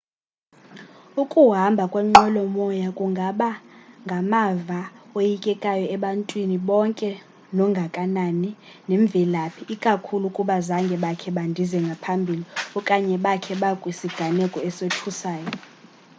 ukuhamba ngenqwelomoya kungaba ngamava oyikekayo ebantwini bonke nongakanani nemvelaphi ikakhulu ukuba zange bakhe bandize ngaphambili okanye bakhe bakwisiganeko esothusayo